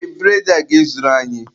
Ee, bụredị a ga-ezuru anyị.